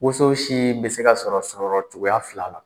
Woso si bɛ se ka sɔrɔ sɔrɔ cogoya fila la,